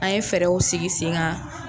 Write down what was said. An ye fɛɛrɛw sigi sen kan.